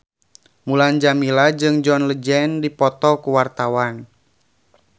Mulan Jameela jeung John Legend keur dipoto ku wartawan